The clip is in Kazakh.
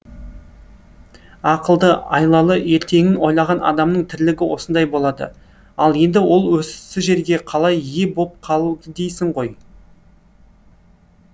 ақылды айлалы ертеңін ойлаған адамның тірлігі осындай болады ал енді ол осы жерге қалай ие боп қалды дейсің ғой